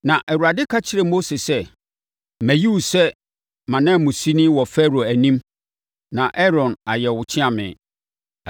Na Awurade ka kyerɛɛ Mose sɛ, “Mayi wo sɛ mʼananmusini wɔ Farao anim na Aaron ayɛ wo ɔkyeame.